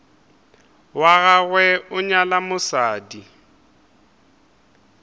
wa gagwe a nyala mosadi